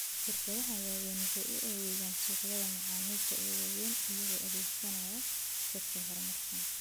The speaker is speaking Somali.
Shirkadaha waaweyni waxay u adeegaan suuqyada macaamiisha ee waaweyn iyagoo adeegsanaya saadka horumarsan.